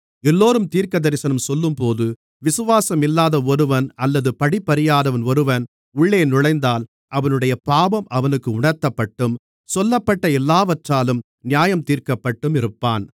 எல்லோரும் தீர்க்கதரிசனம் சொல்லும்போது விசுவாசம் இல்லாத ஒருவன் அல்லது படிப்பறியாதவன் ஒருவன் உள்ளே நுழைந்தால் அவனுடைய பாவம் அவனுக்கு உணர்த்தப்பட்டும் சொல்லப்பட்ட எல்லாவற்றாலும் நியாயந்தீர்க்கப்பட்டும் இருப்பான்